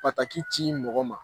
Pataki ci mɔgɔ ma